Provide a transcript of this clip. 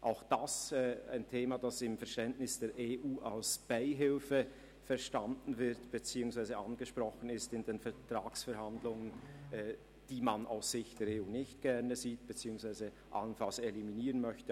Auch dies ist ein Thema, das im Verständnis der EU als Beihilfe verstanden beziehungsweise in den Vertragsverhandlungen angesprochen wird, die man aus Sicht der EU nicht gerne sieht beziehungsweise allenfalls eliminieren möchte.